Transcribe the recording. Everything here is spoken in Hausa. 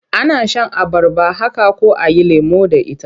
Ana shan abarba haka ko a yi lemo da ita.